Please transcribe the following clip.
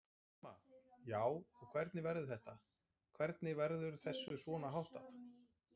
Telma: Já, og hvernig verður þetta, hvernig verður þessu svona háttað?